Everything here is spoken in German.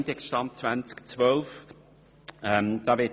Der Index stammt aus dem Jahr 2012.